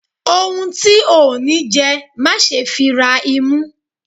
ohún tí o ní jẹ, má sé fí rá imú